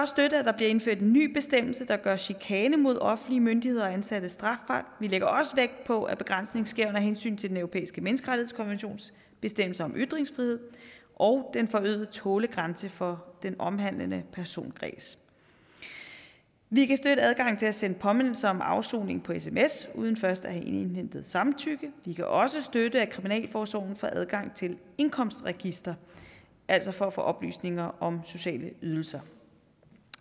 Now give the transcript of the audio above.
støtte at der bliver indført en ny bestemmelse der gør chikane mod offentlige myndigheder og ansatte strafbart vi lægger også vægt på at begrænsningen sker under hensyn til den europæiske menneskerettighedskonventions bestemmelse om ytringsfrihed og den forøgede tålegrænse for den omhandlende personkreds vi kan støtte adgangen til at sende påmindelse om afsoning på sms uden først at have indhentet samtykke vi kan også støtte at kriminalforsorgen får adgang til indkomstregistre altså for at få oplysninger om sociale ydelser